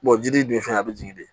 jiri dun fɛ a bɛ jigin de